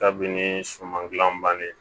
Kabini suman gilan banni